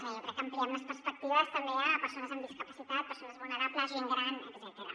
jo crec que ampliem les perspectives també a persones amb discapacitat persones vulnera·bles gent gran etcètera